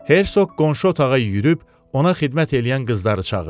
Herseq qonşu otağa yürüyüb ona xidmət eləyən qızları çağırdı.